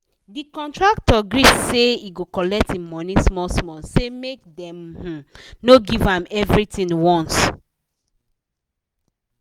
the contractor gree say he go collect him money small small say make dem um no give am everythin once